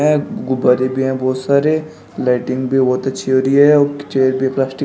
गुब्बारे भी है बहुत सारे लाइटिंग भी बहुत अच्छी हो रही है चेयर भी प्लास्टिक --